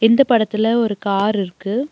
இந்த படத்துல ஒரு காரிருக்கு .